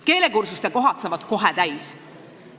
Keelekursuste kohad saavad kohe täis.